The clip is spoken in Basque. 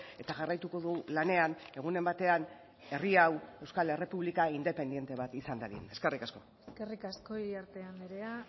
eta jarraituko du lanean egunen batean herri hau euskal errepublika independente bat izan dadin eskerrik asko eskerrik asko iriarte andrea